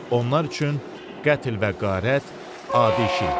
Onlar üçün qətl və qarət adi iş idi.